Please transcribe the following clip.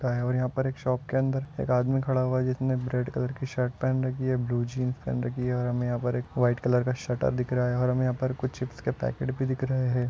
का हैं और यहाँ पर एक शॉप के अंदर एक आदमी खड़ा हुआ हैं जिसने रेड कलर की शर्ट पहनी हैं ब्लू जीन्स पहने रखी हैं और हमे यहाँ पर एक व्हाईट कलर का शटर दिख रहा हैं और हमें यहाँ पर कुछ चिप्स के पैकेट भी दिख रहे हैं।